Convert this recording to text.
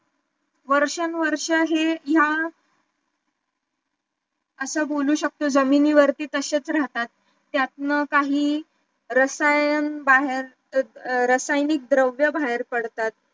वर्षानुवर्षे हे या असं बोलू शकतो जमिनी वरती तशेच राहतात त्यातन काही रसायन बाहेर रासायनिक द्रव्य बाहेर पडतात